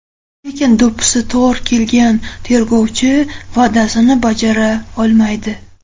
Lekin do‘ppisi tor kelgan tergovchi va’dasini bajara olmaydi.